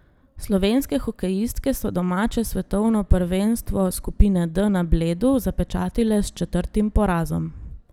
Slovenske hokejistke so domače svetovno prvenstvo skupine D na Bledu zapečatile s četrtim porazom.